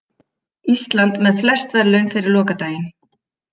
Ísland með flest verðlaun fyrir lokadaginn